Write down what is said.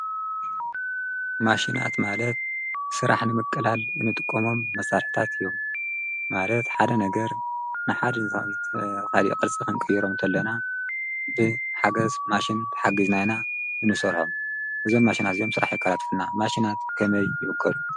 ማሽናት ማለት ሥራሕ ንምቀላል እንጥቆሞም መሣልሕታት እዩም ማለት ሓደ ነገር ንሓ ንቲ ኻዲ ቐልጽ ኽንቀይሮም እንተለና ብ ሓገሥ ማሽን ተሓጊዝናይና እንሱርሖም እዞን ማሽናት ኦም ሠራሕ የካላትፍና ማሽናት ከነይ ይብጐዱ።